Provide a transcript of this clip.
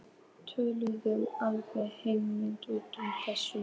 Við töluðum alveg hreint út um þetta.